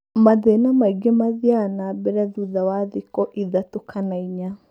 Mathĩna maingĩ mathiaga na mbere thutha wa thikũ ithatũ kana inya.